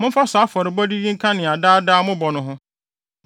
Momfa saa afɔrebɔde yi nka nea daadaa mobɔ no ho.